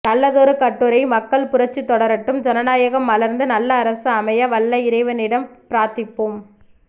நல்லதொரு கட்டுரை மக்கள் புரட்சி தொடரட்டும் ஜனநாயகம் மலர்ந்து நல்ல அரசு அமைய வல்ல இறைவனிடம் பிரார்த்திப்போம ்